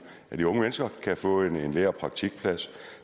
af de unge mennesker kan få en lære og praktikplads